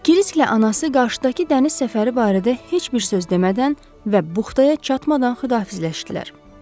Kirkla anası qarşıdakı dəniz səfəri barədə heç bir söz demədən və buxtaya çatmadan xudafizləşdilər.